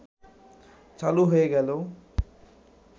চালু হয়ে গেল